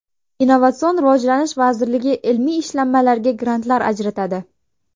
Innovatsion rivojlanish vaziriligi ilmiy ishlanmalarga grantlar ajratadi.